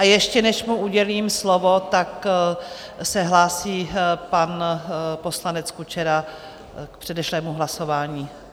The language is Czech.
A ještě než mu udělím slovo, tak se hlásí pan poslanec Kučera k předešlému hlasování.